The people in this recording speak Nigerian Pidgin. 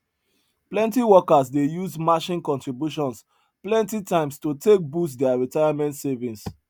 plenty workers dey use matching contributions plenty times to take boost their retirement savings